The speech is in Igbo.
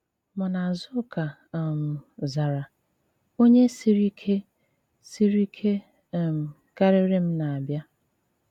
Mànà Àzùká um zàrà: “ ònye sìrì ìké sìrì ìké um karịrị m na-abịa.